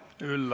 Aitäh!